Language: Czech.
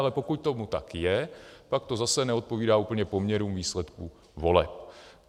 Ale pokud tomu tak je, pak to zase neodpovídá úplně poměrům výsledku voleb.